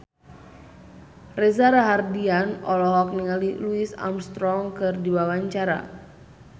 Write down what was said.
Reza Rahardian olohok ningali Louis Armstrong keur diwawancara